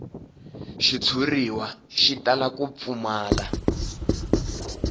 xitshuriwa xi tala ku pfumala